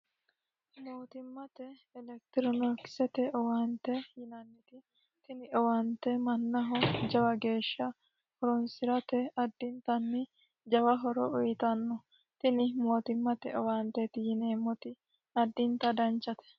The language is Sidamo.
Tini owaante mannaho lowo horo uyiitannote. Tini mootimmate owaante yoneemmoti addinta danchate.